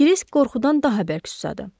Krisk qorxudan daha bərk susadı.